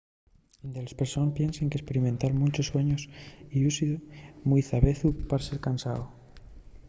delles persones piensen qu’esperimentar munchos suaños llúcidos mui davezu pue ser cansao